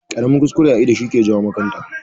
Ƙaramin kuskure a ido shi ke jawo makanta.